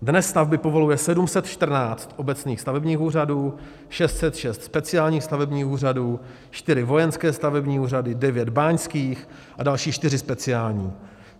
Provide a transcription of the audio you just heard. Dnes stavby povoluje 714 obecných stavebních úřadů, 606 speciálních stavebních úřadů, 4 vojenské stavební úřady, 9 báňských a další 4 speciální.